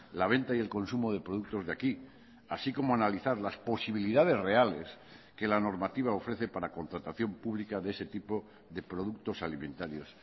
la venta y el consumo de productos de aquí así como analizar las posibilidades reales que la normativa ofrece para contratación pública de ese tipo de productos alimentarios